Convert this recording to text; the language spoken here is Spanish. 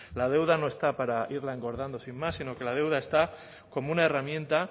la deuda no está para irla engordando sin más sino que la deuda está como una herramienta